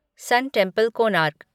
सुन temple, Konark